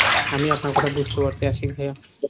আমি আপনার কথা বুঝতে পারসি আশিক ভাইয়া।